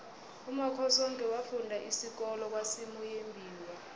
umakhosoke wafunda isikolo kwasimuyembiwa